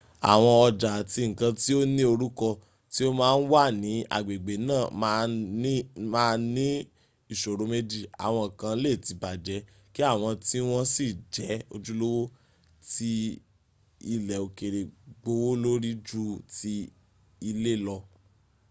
awọn ọjà àti nǹkan tí o ní orúkọ tí o máa ń wà ní agbègbè náà máa ní ìṣòro méjì; àwọn kan lè ti bàjẹ́ kí àwọn tí wọn sì jẹ́ ojúlówó tí ilẹ̀ òkèrè gbówólórí ju ti ilé lọ